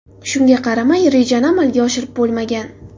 Shunga qaramay, rejani amalga oshirib bo‘lmagan.